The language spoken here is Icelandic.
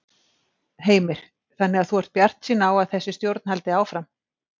Heimir: Þannig að þú ert bjartsýn á að þessi stjórn haldi áfram?